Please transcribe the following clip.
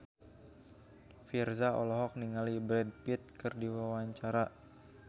Virzha olohok ningali Brad Pitt keur diwawancara